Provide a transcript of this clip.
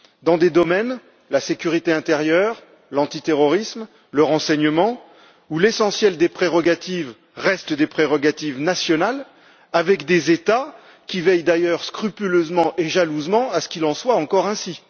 dans des domaines tels que la sécurité intérieure, l'antiterrorisme et le renseignement, où l'essentiel des prérogatives restent des prérogatives nationales, avec des États qui veillent d'ailleurs scrupuleusement et jalousement à ce qu'il en soit encore ainsi.